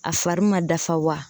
A fari ma dafa wa?